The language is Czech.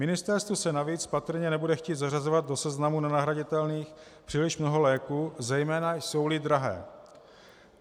Ministerstvu se navíc patrně nebude chtít zařazovat do seznamu nenahraditelných příliš mnoho léků, zejména jsou-li drahé.